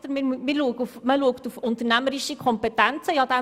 es sei auf unternehmerische Kompetenzen zu achten.